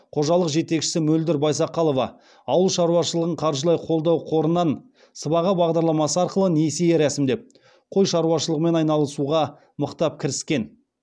қожалық жетекшісі мөлдір байсақалова ауыл шаруашылығын қаржылай қолдау қорынан сыбаға бағдарламасы арқылы несие рәсімдеп қой шаруашылығымен айналысуға мықтап кіріскен